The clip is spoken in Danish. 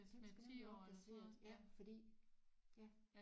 Den skal nemlig opdateres ja fordi ja